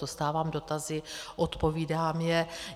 Dostávám dotazy, odpovídám je.